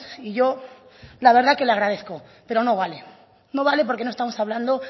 y yo la verdad que le agradezco pero no vale no vale porque no estamos hablando